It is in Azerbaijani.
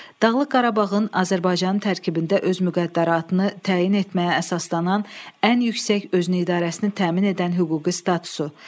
Dağlıq Qarabağın Azərbaycanın tərkibində öz müqəddəratını təyin etməyə əsaslanan ən yüksək özünüidarəsini təmin edən hüquqi statusu.